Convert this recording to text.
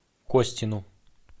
костину